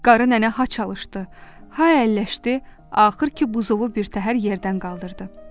Qarı nənə ha çalışdı, ha əlləşdi, axır ki, buzovu birtəhər yerdən qaldırdı.